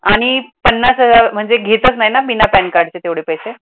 आणि पन्नास हजार म्हणजे घेतच नाही ना बिना pan card चे तेवढे पैसे.